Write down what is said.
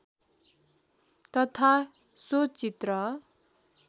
तथा सो चित्र